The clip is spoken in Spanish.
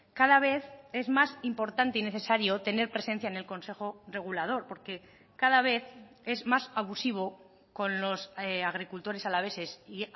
cada vez es más importante y necesario tener presencia en el consejo regulador porque cada vez es más abusivo con los agricultores alaveses y